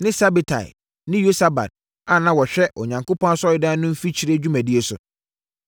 ne Sabetai ne Yosabad a na wɔhwɛ Onyankopɔn Asɔredan no mfikyire dwumadie so;